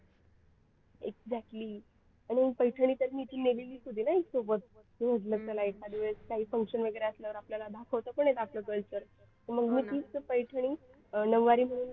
Exactly आणि पैठणी तर मी इथून नेलेली होती ना सोबत म्हटलं चला एखाद्या वेळेस काही function वगैरे असल्यावर आपल्याला दाखवता पण येते आपलं culture मग मी तेच पैठणी नऊवारी म्हणून घातली.